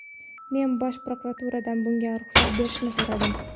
Men bosh prokuraturadan bunga ruxsat berishni so‘radim.